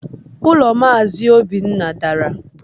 Ulo Mazi Obinna dara